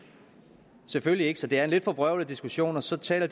selvfølgelig ikke så det er en lidt forvrøvlet diskussion så taler